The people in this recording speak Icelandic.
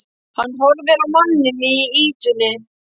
Hann horfir á manninn í ýtunni.